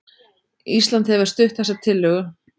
Ísland hefur stutt þessa tillögu